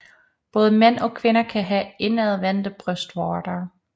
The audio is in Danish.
Både mænd og kvinder kan have indadvendte brystvorter